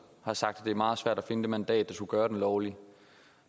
har sagt at det er meget svært at finde det mandat der skulle gøre at den var lovlig